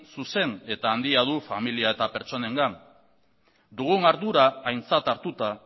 zuzen eta handia du familia eta pertsonengan dugun ardura aintzat hartuta